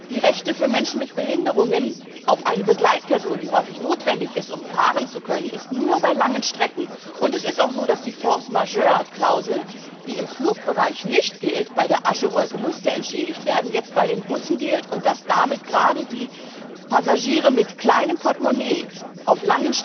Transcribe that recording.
Das Recht von Menschen mit Behinderungen auf eine Begleitperson, die häufig notwendig ist, um fahren zu können, ist nur bei langen Strecken gewährleistet. Und es ist auch so, dass die Höhere Gewalt Klausel, die im Flugbereich nicht gilt bei der Aschewolke musste entschädigt werden bei den Bussen gilt und dass damit gerade die Passagiere mit kleinem Portemonnaie